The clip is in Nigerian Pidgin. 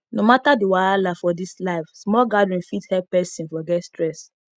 no matter the wahala for this life small gathering fit help person forget stress